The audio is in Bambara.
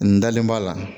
N dalen b'a la